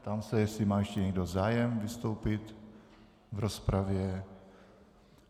Ptám se, jestli má ještě někdo zájem vystoupit v rozpravě.